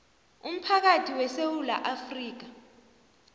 umphakathi wesewula afrika